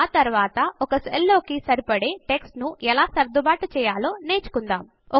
ఆ తరువాత ఒక సెల్ లోకి సరిపడే టెక్స్ట్ ను ఎలా సర్దుబాటు చేయాలో నేర్చుకుందాము